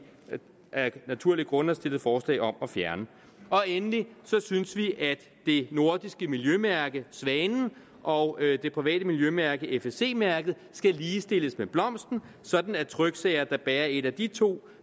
af naturlige grunde har stillet forslag om at fjerne endelig synes vi at det nordiske miljømærke svanen og det private miljømærke fsc mærket skal ligestilles med blomsten sådan at tryksager der bærer et af de to